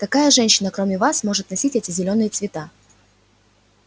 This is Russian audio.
какая женщина кроме вас может носить эти зелёные цвета